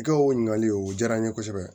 I ka o ɲininkaliw o diyara n ye kosɛbɛ